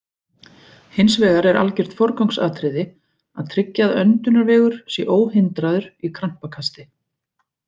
Hins vegar er algjört forgangsatriði að tryggja að öndunarvegur sé óhindraður í krampakasti.